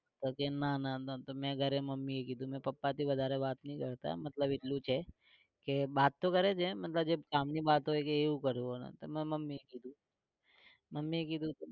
પછી તો મે ઘરે મમ્મીએ કીધું મે પાપાથી વધારે વાત નહી કરતા મતલબ એટલું છે કે બતા તો કરે છે મતલબ જે કામ ની વાત હોય કે એવું કરવાનું. એટલે મે મમ્મીને કીધું. મમ્મીએ કીધું